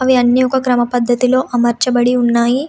అవి అన్ని ఒక క్రమ పద్ధతిలో అమర్చబడి ఉన్నాయి.